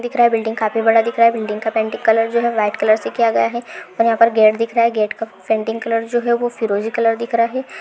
दिख रहा है बिल्डिंग काफी बड़ा दिख रहा है बिल्डिंग का पेंटिंग कलर जो है वो वाइट कलर से किया गया है और यहां पर गेट दिख रहा है गेट का जो है वो फिरोजी कलर दिख रहा है।